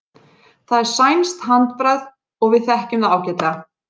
Það er sænskt handbragð og við þekkjum það ágætlega.